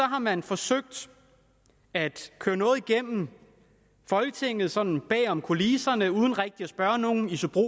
har man forsøgt at køre noget igennem folketinget sådan bagom kulisserne uden rigtigt at spørge nogen isobro